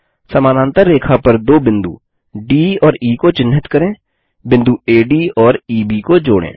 समानांतर रेखा पर दो बिंदु डी और ई को चिन्हित करें बिंदु एडी और ईबी को जोड़ें